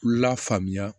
Lafaamuya